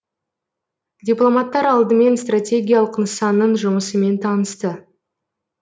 дипломаттар алдымен стратегиялық нысанның жұмысымен танысты